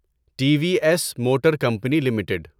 T V S motor company limited